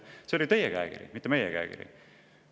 " See oli teie käekiri, mitte meie käekiri.